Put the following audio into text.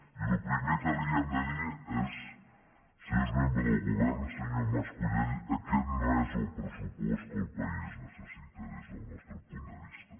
i el primer que li hem de dir és senyors membres del govern senyor mas colell aquest no és el pressupost que el país necessita des del nostre punt de vista